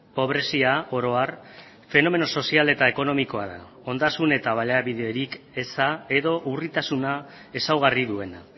pobrezia oro har fenomeno sozial eta ekonomikoa da ondasun eta baliabiderik eza edo urritasuna ezaugarri duena